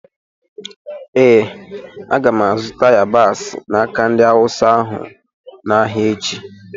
Ee, aga m azụta yabasị n’aka ndị Awụsa ahụ n’ahịa echi.